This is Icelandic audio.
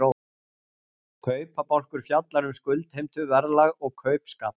Kaupabálkur fjallar um skuldheimtu, verðlag og kaupskap.